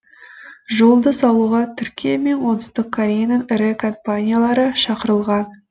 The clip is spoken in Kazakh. жолды салуға түркия мен оңтүстік кореяның ірі компаниялары шақырылған